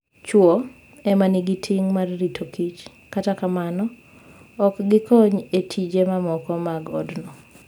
Chwo e ma nigi ting' mar rito kich, kata kamano, ok gikony e tije mamoko mag odno.